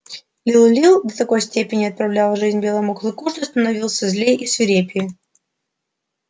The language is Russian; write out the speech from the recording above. лил лил до такой степени отравлял жизнь белому клыку что становился злее и свирепее